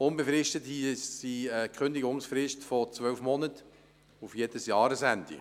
Unbefristete Mietverträge haben eine Kündigungsfrist von zwölf Monaten, auf jedes Jahresende.